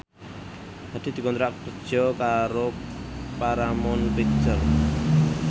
Hadi dikontrak kerja karo Paramount Picture